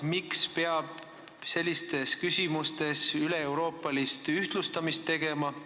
Miks peab sellistes küsimustes tegema üleeuroopalist ühtlustamist?